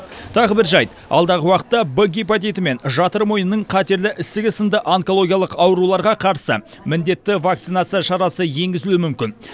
тағы бір жайт алдағы уақытта в гепатиті мен жатыр мойнының қатерлі ісігі сынды онкологиялық ауруларға қарсы міндетті вакцинация шарасы енгізілуі мүмкін